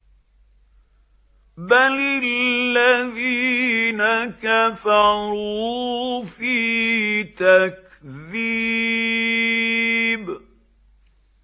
بَلِ الَّذِينَ كَفَرُوا فِي تَكْذِيبٍ